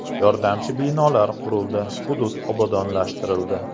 Yordamchi binolar qurildi, hudud obodonlashtirildi.